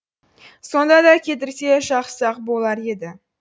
сонда да кетірсе жақсы ақ болар еді